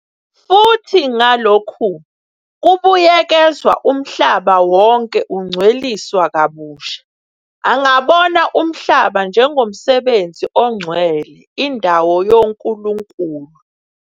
Futhi ngalokhu kubuyekezwa, umhlaba wonke ungcweliswa kabusha angabona umhlaba njengomsebenzi ongcwele, indalo yonkulunkulu.